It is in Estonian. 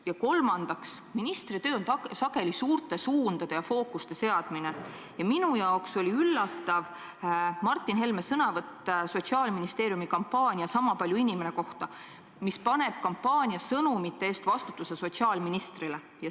Kolmandaks, ministri töö on sageli suurte suundade ja fookuste seadmine ja minu jaoks oli üllatav Martin Helme sõnavõtt Sotsiaalministeeriumi kampaania "Kõik on erinevad, kuid sama palju inimesed" kohta, mis paneb vastutuse kampaania sõnumite eest sotsiaalministrile.